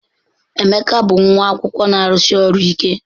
Emeka bụ nwa akwụkwọ na-arụsi ọrụ ike.